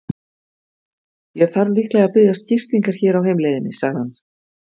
Ég þarf líklega að biðjast gistingar hér á heimleiðinni, sagði hann.